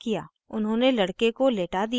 उन्होंने लड़के को लेटा दिया